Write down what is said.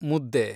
ಮುದ್ದೆ